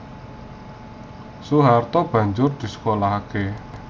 Soeharto banjur disekolahaké